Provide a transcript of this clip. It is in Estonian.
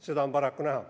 Seda on paraku näha.